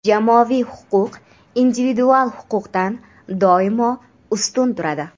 Jamoaviy huquq individual huquqdan doimo ustun turadi.